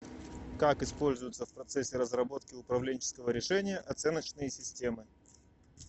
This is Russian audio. как используются в процессе разработки управленческого решения оценочные системы